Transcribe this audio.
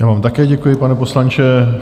Já vám také děkuji, pane poslanče.